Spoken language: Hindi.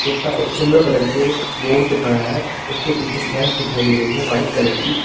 कुत्ता एक सिल्वर कलर के बोर्ड पर खड़ा है उसके पीछे दिखाई दे रही है व्हाइट कलर की।